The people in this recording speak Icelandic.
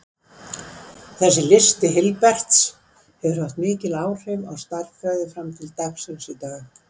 Þessi listi Hilberts hefur haft heilmikil áhrif á stærðfræði fram til dagsins í dag.